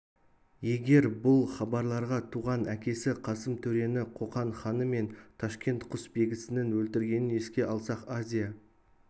егер бұл хабарларға туған әкесі қасым төрені қоқан ханы мен ташкент құсбегісінің өлтіргенін еске алсақ азия